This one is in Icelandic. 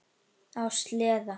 Á sleða.